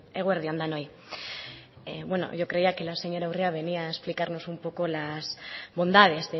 eguerdi on denoi yo creía que la señora urrea nos venía a explicarnos un poco las bondades